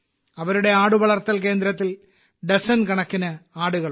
അവരുടെ ആടുവളർത്തൽ കേന്ദ്രത്തിൽ ഡസൻ കണക്കിന് ആടുകളുണ്ട്